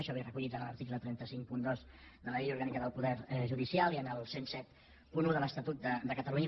això és recollit en l’article tres cents i cinquanta dos de la llei orgànica del poder judicial i en el deu setanta u de l’estatut de catalunya